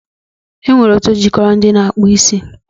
E nwere otu jikọrọ ndị na-akpụ isi